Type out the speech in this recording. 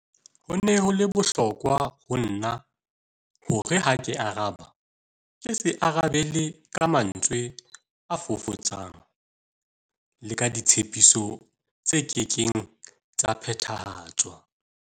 Ho ne ho le bohlokwa ho nna hore ha ke araba ke se arabele ka mantswe a fofotsang le ka ditshepiso tse kekeng tsa phethahatswa.